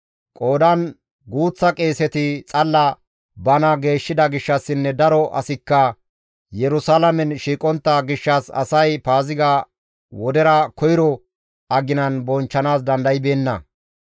Qoodan guuththa qeeseti xalla bana geeshshida gishshassinne daro asikka Yerusalaamen shiiqontta gishshas asay Paaziga wodera koyro aginan bonchchanaas dandaybeenna.